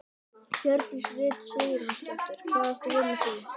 Hjördís Rut Sigurjónsdóttir: Hvað áttu við með því?